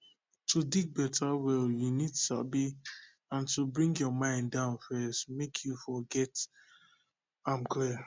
to dig better well you need sabi and to bring your mind down first make you for get am clear